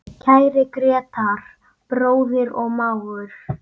Kæri Grétar, bróðir og mágur.